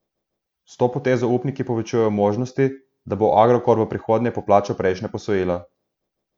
S to potezo upniki povečujejo možnosti, da bo Agrokor v prihodnje poplačal prejšnja posojila.